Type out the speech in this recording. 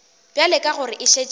bjale ka gore e šetše